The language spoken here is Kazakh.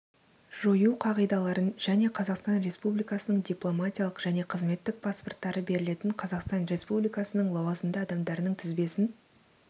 жою қағидаларын және қазақстан республикасының дипломатиялық және қызметтік паспорттары берілетін қазақстан республикасының лауазымды адамдарының тізбесін